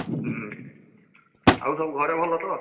ହୁଁ ଆଉ ସବୁ ଘରେ ଭଲ ତ?